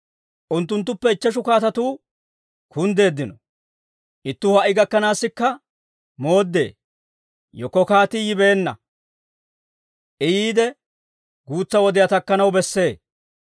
Unttunttuppe ichcheshu kaatatuu kunddeeddino. Ittuu ha"i gakkanaassikka mooddee; yekko kaatii yibeenna. I yiide, guutsa wodiyaa takkanaw bessee.